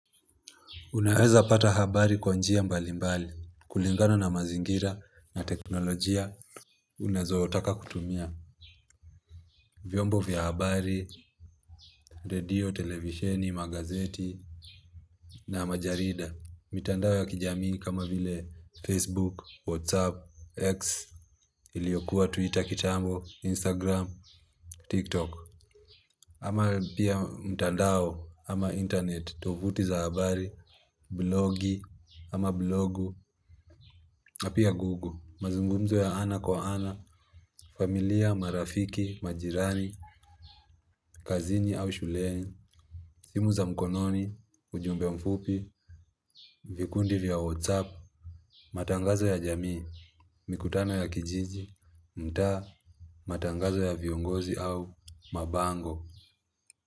Unaweza pata habari kwa njia mbalimbali kulingana na mazingira na teknolojia. Uwezayotaka kutumia vyombo vya habari, redio, televisheni, magazeti na majarida. Mitandao ya kijamii kama vile Facebook, WhatsApp, X, iliyokuwa Twitter kitambo, Instagram, TikTok. Ama pia mtandao ama internet, tovuti za habari, blogi ama blogu, na pia Google. Mazungumzo ya ana kwa ana, familia, marafiki, majirani, kazini au shuleni, simu za mkononi, ujumbe mfupi, vikundi vya WhatsApp, matangazo ya jamii, mikutano ya kijiji, mtaa, matangazo ya viongozi au mabango.